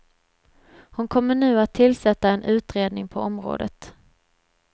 Hon kommer nu att tillsätta en utredning på området.